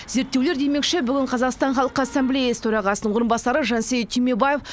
зерттеулер демекші бүгін қазақстан халқы ассамблеясы төрағасының орынбасары жансейіт түймебаев